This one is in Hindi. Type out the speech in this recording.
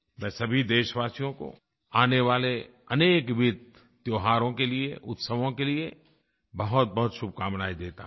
मैं सभी देशवासियों को आने वाले अनेकविद त्योहारों के लिये उत्सवों के लिये बहुतबहुत शुभकामनायें देता हूँ